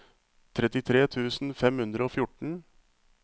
trettitre tusen fem hundre og fjorten